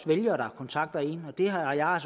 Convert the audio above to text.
vælgere der kontakter en og det har jeg